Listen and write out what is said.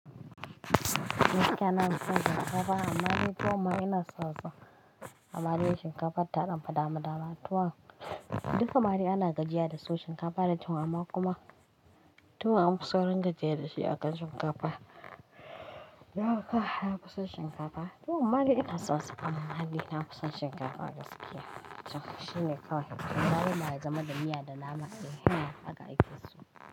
Gaskiya nafiso shinkafa amma dai tuwon ma ina sonsa amma dai shinkafan tadanfi dama dama tuwon, duka madai ana gajiya da su shinkafa da tuwon amma kuma tuwon an fi saurin jiyya da shi a kan shinkafa. Yauwa nafison shinkafa. Tuwon mmadai ina sonsa ammadai nafison shinkafa gaskiya To shine kawai. Game da miya da nama haka a akeso.